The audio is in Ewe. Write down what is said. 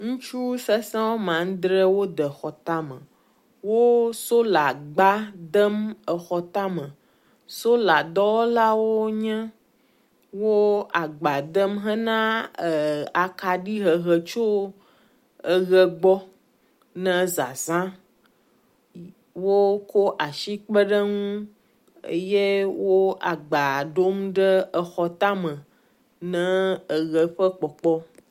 Ŋustu sesẽ wome adre wode exɔ tame, wo solagba dem exɔ tame, sola dɔwɔlawo wonye, wo agba dem hena akɖi hehe tso eʋe gbɔ ne zazã woko asi kpeɖeŋu ye wo agba ɖom ɖe exɔ tame na eʋe ƒe kpɔkpɔ